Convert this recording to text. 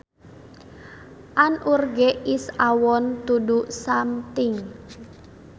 An urge is a want to do something